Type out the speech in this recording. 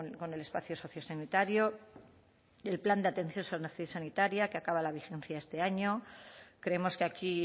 con el espacio sociosanitario y el plan de atención sociosanitaria que acaba la vigencia este año creemos que aquí